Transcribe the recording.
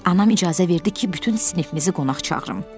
Anam icazə verdi ki, bütün sinifimizi qonaq çağırım.